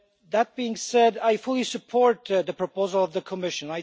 That being said, I fully support the proposal of the Commission.